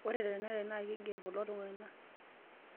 ore tenarany naa kiigerr kulo tung'anak